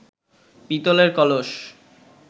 পিতলের কলস